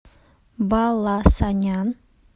баласанян